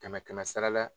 Kɛmɛ kɛmɛ sara la